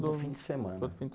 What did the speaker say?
fim de semana. Todo fim